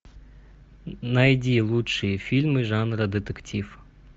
найди лучшие фильмы жанра детектив